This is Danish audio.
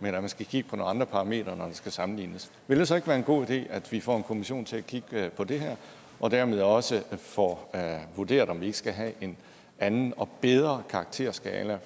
men at man skal kigge på nogle andre parametre når der skal sammenlignes vil det så ikke være en god idé at vi får en kommission til at kigge på det her og dermed også får vurderet om vi ikke skal have en anden og bedre karakterskala